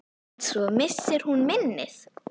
En svo missir hún minnið.